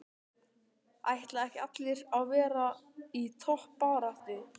Ætla ekki allir að vera í toppbaráttu?